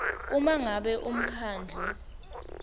uma ngabe umkhandlu